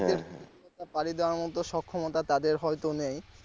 মতো সব ক্ষমতা তাদের হয়তো নেই।